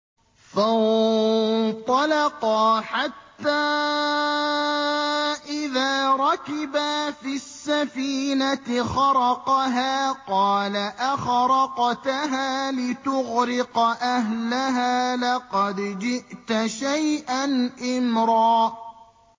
فَانطَلَقَا حَتَّىٰ إِذَا رَكِبَا فِي السَّفِينَةِ خَرَقَهَا ۖ قَالَ أَخَرَقْتَهَا لِتُغْرِقَ أَهْلَهَا لَقَدْ جِئْتَ شَيْئًا إِمْرًا